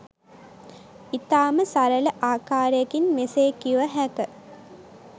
ඉතාම සරළ ආකාරයකින් මෙසේ කිව හැක.